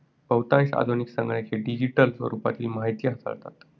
बहुतांश आधुनिक संगणक हे digital स्वरूपातील माहिती हाताळतात.